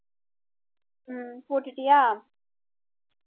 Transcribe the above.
உம் போட்டுட்டியா?